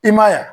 I ma ye wa